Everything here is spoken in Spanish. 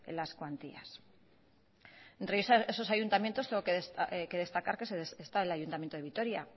las cuantías entre esos ayuntamientos tengo que destacar que está el ayuntamiento de vitoria